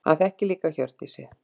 Hann þekkir líka Hjördísi.